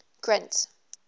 grint